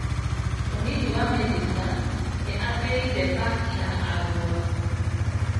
Mũnini wa minĩsta nĩ atĩire paki ya Arũa